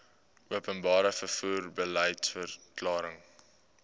openbare vervoer beliedsverklaring